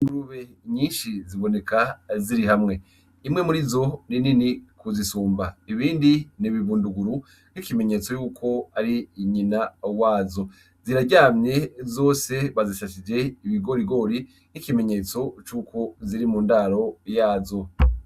Rube nyinshi ziboneka ziri hamwe imwe muri zo ri nini kuzisumba ibindi n'ibibunduguru k'ikimenyetso yuko ari inyina uwazo ziraryamye zose bazisashije ibigorigori n'ikimenyetso c'uko ziri mu ndaro yazo.